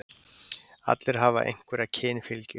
Allir hafa einhverja kynfylgju.